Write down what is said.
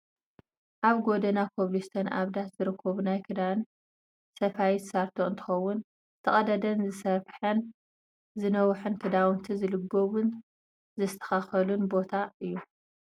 ኣብ ጎደና ኮፕሉስቶን ኣብ ዳስ እትርከብ ናይ ክዳን ሰፋይት ሳርቶ እንትከውን ፣ ዝተቀደደን ዝሰፈሓን ዝነወሓን ክዳውንቲ ዝልግቡን ዘስተካከለሉን ቦታ እዩ።